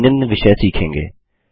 हम निम्न विषय सीखेंगे